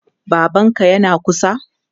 Babanka yana kusa?